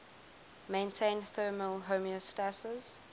maintain thermal homeostasis